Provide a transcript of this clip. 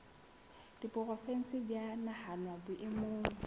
diporofensi di a nahanwa boemong